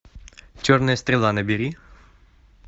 черная стрела набери